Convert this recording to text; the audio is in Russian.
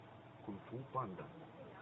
кунг фу панда